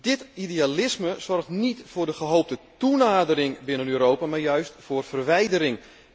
Dit idealisme zorgt niet voor de gehoopte toenadering binnen Europa, maar juist voor verwijdering.